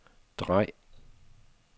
drej